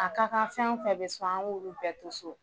A ka kan fɛn o fɛn bi so an k'olu bɛɛ to so